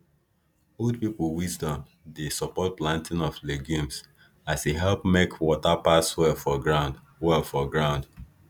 old people wisdom dey support planting of legumes as e help make water pass well for ground well for ground